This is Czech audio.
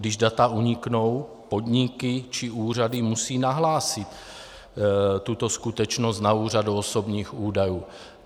Když data uniknou, podniky či úřady musí nahlásit tuto skutečnost na úřadu osobních údajů.